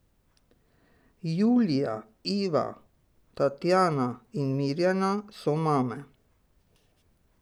Julija, Iva, Tatjana in Mirjana so mame.